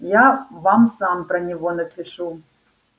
я вам сам про него напишу